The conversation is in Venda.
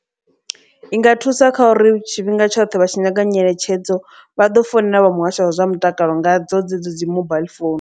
I nga thusa kha uri tshifhinga tshoṱhe vha tshi nyanga nyeletshedzo vha ḓo founela vha muhasho wa zwa mutakalo ngadzo dzedzo dzi mobaiḽi phone.